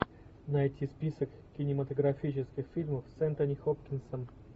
найти список кинематографических фильмов с энтони хопкинсом